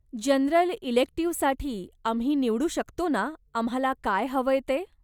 General इलेक्टिव्हसाठी आम्ही निवडू शकतो ना आम्हाला काय हवंय ते?